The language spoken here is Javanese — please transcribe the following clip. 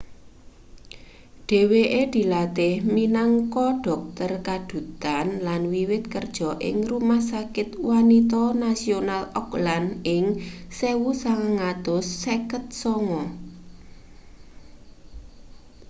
dheweke dilatih minangka dhokter kadhutan lan wiwit kerja ing rumah sakit wanita nasional auckland ing 1959